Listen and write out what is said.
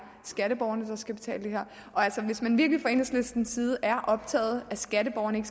skatteborgerne der skal betale det her altså hvis man virkelig fra enhedslistens side er optaget af at skatteborgerne